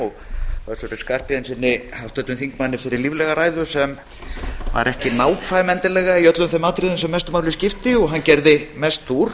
og háttvirtum þingmanni össuri skarphéðinssyni fyrir líflega ræðu sem var ekki nákvæm endilega í öllum þeim atriðum sem mestu máli skipti og hann gerði mest úr